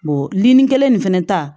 nin kelen nin fɛnɛ ta